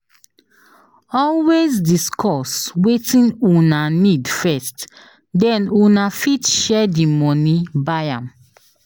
Always discuss wetin Una need first then una fit share di money buy am